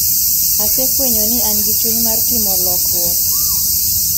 Asefwenyo ni an gi chuny mar timo lokruok.